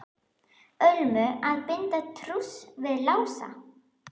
Ölmu að binda trúss við Lása.